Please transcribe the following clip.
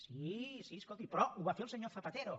sí sí escolti però ho va fer el senyor zapatero